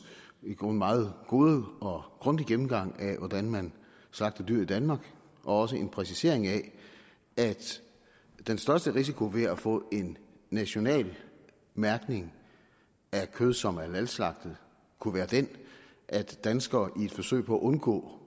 i grunden meget gode og grundige gennemgang af hvordan man slagter dyr i danmark og også en præcisering af at den største risiko ved at få en national mærkning af kød som er halalslagtet kunne være den at danskere i et forsøg på at undgå